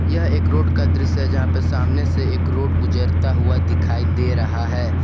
यह एक रोड का दृश्य है जहां पे सामने से एक रोड गुजरता हुआ दिखाई दे रहा है।